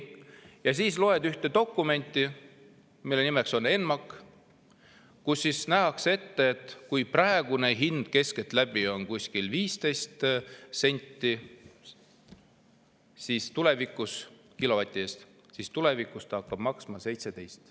Ja siis loed ühte dokumenti, mille nimetus on ENMAK ja kus nähakse ette, et kui praegune hind on keskeltläbi 15 senti kilovati eest, siis tulevikus see hakkab maksma 17 senti.